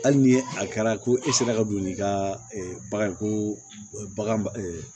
Hali ni a kɛra ko e sera ka don n'i ka bagan ye ko bagan